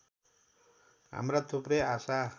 हाम्रा थुप्रै आशा